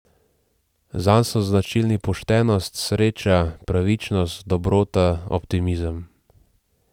Zanj so značilni poštenost, sreča, pravičnost, dobrota, optimizem.